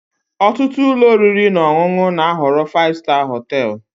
Ọtụtụ ụlọ oriri na ọṅụṅụ na-ahọrọ 5 star hotel.